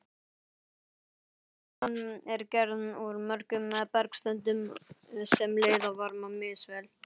Jarðskorpan er gerð úr mörgum bergtegundum sem leiða varma misvel.